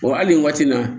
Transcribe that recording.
hali nin waati in na